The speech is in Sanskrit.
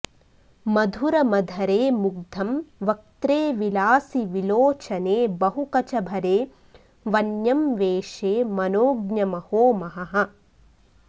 मधुरमधरे मुग्धं वक्त्रे विलासि विलोचने बहु कचभरे वन्यं वेषे मनोज्ञमहो महः